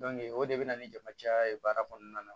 o de bɛ na ni jama caya kɔnɔna na